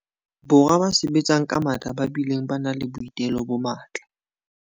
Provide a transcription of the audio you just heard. Borwa ba sebetsang ka matla ba bileng ba nang le boitelo bo matla.